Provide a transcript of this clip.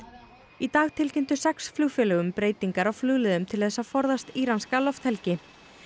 í dag tilkynntu sex flugfélög um breytingar á flugleiðum til þess að forðast íranska lofthelgi